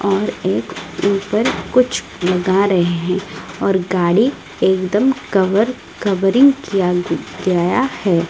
और एक ऊपर कुछ लगा रहे हैं और गाड़ी एकदम कवर कवरिंग किया कियाया है।